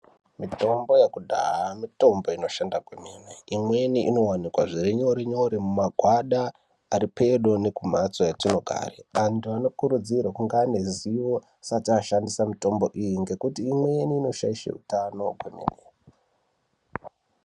Mitombo yekudhaya, mitombo inoshanda kwemene. Imweni inowanikwa zvirinyore-nyore mumagwada aripedo nekumhatso kwatinogare. Antu anokurudzirwe kunge aneruzivo, asati ashandisa mishonga iyi ngekuti imweni inoshaishe utano.